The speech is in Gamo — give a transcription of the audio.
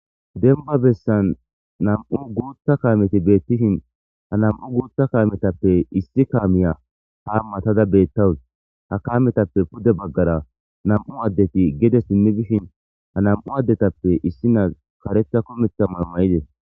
Denba bessan nam'u guutta kaameti beettishin hanam'u guuta kaametappe issi kaamiya hamatada beettawus hakaametappe pude baggara nam'u addeti gede simmi bishin hanam'u addetappe issina karetha kometha mayo mayides.